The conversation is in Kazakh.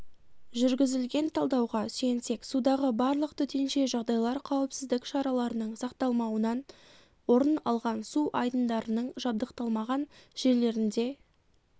жүргізілген талдауға сүйенсек судағы барлық төтенше жағдайлар қауіпсіздік шараларының сақталмауынан орын алған су айдындарының жабдықталмаған жерлерінде